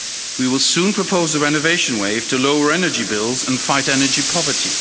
We will soon propose a renovation wave to lower energy bills and fight energy poverty.